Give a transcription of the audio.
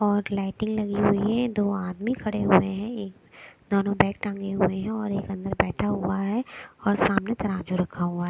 और लाइटें लगी हुई हैं दो आदमी खड़े हुए हैं ये दोनों बैग टांगे हुए हैं और एक अंदर बैठा हुआ है और सामने तराजू रखा हुआ है।